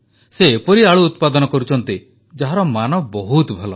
ସେ ଏପରି ଆଳୁ ଉତ୍ପାଦନ କରୁଛନ୍ତି ଯାହାର ମାନ ବହୁତ ଭଲ